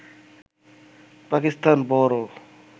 পাকিস্তান বড়